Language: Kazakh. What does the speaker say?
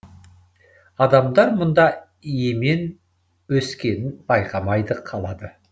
адамдар мұнда емен өскенін байқамайда қалады